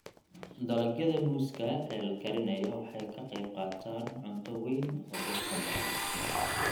Dalagyada muuska ee la karinayo waxay ka qaybqaataan cunto weyn oo dadka badan.